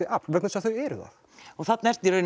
afl vegna þess að þau eru það þarna ertu